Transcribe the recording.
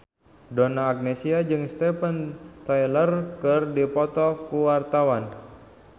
Donna Agnesia jeung Steven Tyler keur dipoto ku wartawan